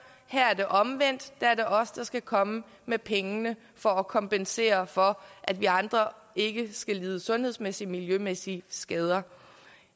her er det omvendt her er det os der skal komme med pengene for at kompensere for at vi andre ikke skal lide sundhedsmæssige og miljømæssige skader jeg